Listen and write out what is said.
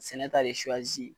Sɛnɛ ta de suwazi.